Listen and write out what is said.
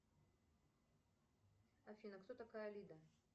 афина кто такая лида